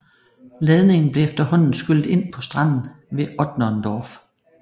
Ladningen blev efterhånden skyllet ind på stranden ved Otterndorf